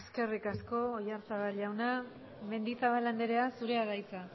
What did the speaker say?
eskerrik asko oyarzabal jauna mendizabal andrea zurea da hitza